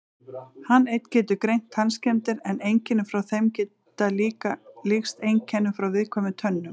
Hann einn getur greint tannskemmdir en einkenni frá þeim geta líkst einkennum frá viðkvæmum tönnum.